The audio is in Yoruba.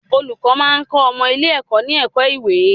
Olùkọ́ máa ń kọ́ ọmọ ilé-ẹ̀kọ́ ní ẹ̀kọ́ ìwé